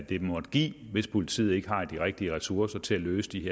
det måtte give hvis politiet ikke har de rigtige ressourcer til at løse de